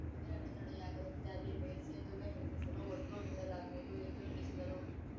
ಯಾವುದೇ ಅಡೆತಡೆಯಾಗದಂತೆ ಅಲ್ಲಿ ಮೇಲ್ಸೇತುವೆ ನಿರ್ಮಿಸಲು ಒತ್ತು ನೀಡಲಾಗುವುದು ಎಂದು ತಿಳಿಸಿದರು